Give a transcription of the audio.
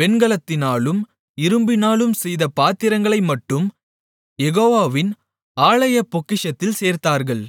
வெண்கலத்தினாலும் இரும்பினாலும் செய்த பாத்திரங்களை மட்டும் யெகோவாவின் ஆலயப்பொக்கிஷத்தில் சேர்த்தார்கள்